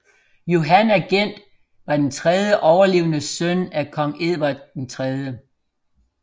Johan of Gent var den tredje overlevende søn af kong Edvard 3